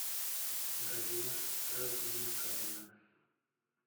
галина размиковна